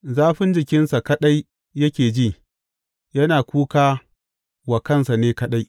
Zafin jikinsa kaɗai yake ji yana kuka wa kansa ne kaɗai.